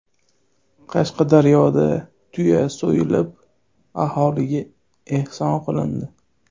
Qashqadaryoda tuya so‘yilib, aholiga ehson qilindi.